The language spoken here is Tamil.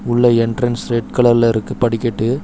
உள்ள என்ட்ரன்ஸ் ரெட் கலர்ல இருக்கு படிக்கட்டு.